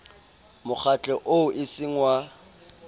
mokgatlo oo e seng wa